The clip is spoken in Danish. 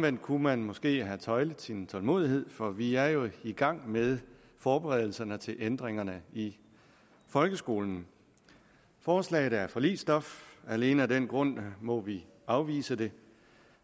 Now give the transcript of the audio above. man kunne måske have tøjlet sin tålmodighed for vi er jo i gang med forberedelserne til ændringerne i folkeskolen forslaget er forligsstof og alene af den grund må vi afvise det